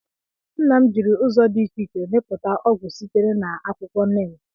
Nna m jiri ụzọ dị iche iche mepụta ọgwụ sitere na akwụkwọ Neem